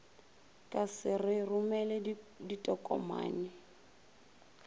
ka se re romele ditokomane